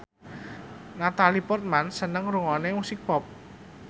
Natalie Portman seneng ngrungokne musik pop